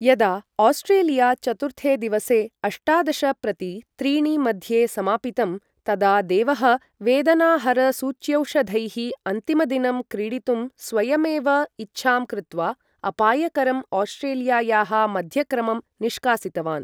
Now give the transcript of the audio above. यदा आस्ट्रेलिया चतुर्थे दिवसे अष्टादश प्रति त्रीणि मध्ये समापितं, तदा देवः वेदनाहरसूच्यौषधैः अन्तिमदिनं क्रीडितुं स्वयमेव इच्छां कृत्त्वा अपायकरं ऑस्ट्रेलियायाः मध्यक्रमं निष्कासितवान्।